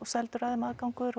seldur aðgangur